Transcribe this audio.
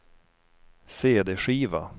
cd-skiva